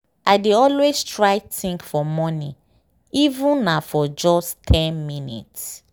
i dey always try think for morning even na for just ten minutes.